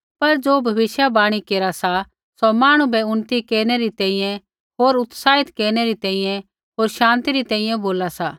पर ज़ो भविष्यवाणी केरा सा सौ मांहणु बै उन्नति केरनै री तैंईंयैं होर उत्साहित केरनै री तैंईंयैं होर शान्ति री तैंईंयैं बोला सा